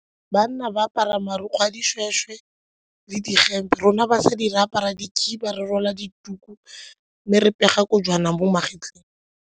Banna ba apara marukgwe a dishweshwe le dihempe, rona batsadi re apara dikhiba, re rwala dituku mme re pega kojwana bo magetleng.